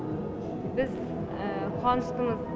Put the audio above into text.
біз қуаныштымыз